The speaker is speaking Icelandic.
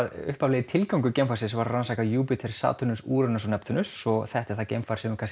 upphaflegur tilgangur geimfarsins var að rannsaka Júpíter Satúrnus Úranus og Neptúnus og þetta er það geimfar sem hefur